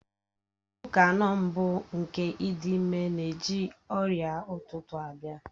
Izu ụka anọ mbụ nke ịdị ime na-eji ọrịa ụtụtụ abịa.